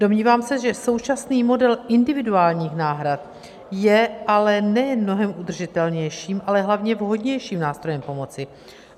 Domnívám se, že současný model individuálních náhrad je ale nejen mnohem udržitelnějším, ale hlavně vhodnějším nástrojem pomoci.